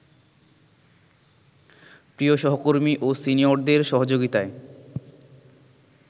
প্রিয় সহকর্মী ও সিনিয়রদের সহযোগিতায়